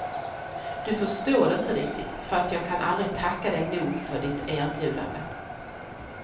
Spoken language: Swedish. Du förstår inte riktigt, fast jag kan aldrig tacka dig nog för ditt erbjudande.